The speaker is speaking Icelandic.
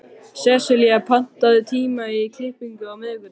Sesselía, pantaðu tíma í klippingu á miðvikudaginn.